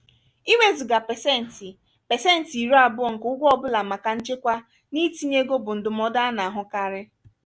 iwezuga pesenti pesenti iri abuo nke ụgwọ ọ bụla maka nchekwa na itinye ego bụ ndụmọdụ a na-ahụkarị.